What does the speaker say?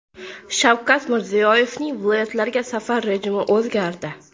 Shavkat Mirziyoyevning viloyatlarga safar rejimi o‘zgardi.